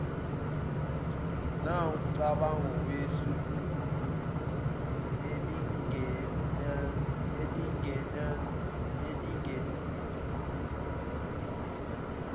nawumcabango wesu elingenziwa